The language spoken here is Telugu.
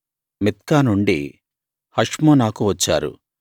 మిత్కా నుండి హష్మోనాకు వచ్చారు